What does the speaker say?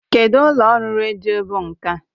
Kedụ ụlọ ọrụ redio bụ nke a?